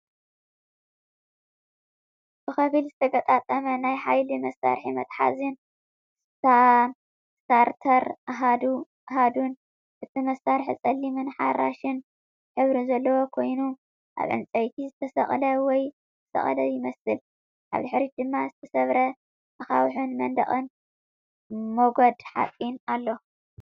ብኸፊል ዝተገጣጠመ ናይ ሓይሊ መሳርሒ መትሓዚን ስታርተር ኣሃዱን። እቲ መሳርሒ ጸሊምን ኣራንሺን ሕብሪ ዘለዎ ኮይኑ ኣብ ዕንጨይቲ ዝተሰቕለ ወይ ዝተሰቕለ ይመስል። ኣብ ድሕሪት ድማ ዝተሰብረ ኣኻውሕን መንደቕ ሞገድ ሓጺንን ኣሎ።